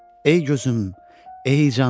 Ey gözüm, ey canım.